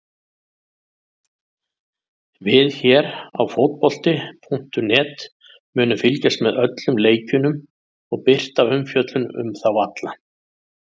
Við hér á fótbolti.net munum fylgjast með öllum leikjunum og birta umfjöllun um þá alla.